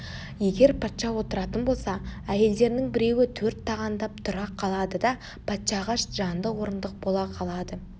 егер патша отыратын болса әйелдерінің біреуі төрт тағандап тұра қалады да патшаға жанды орындық бола қалады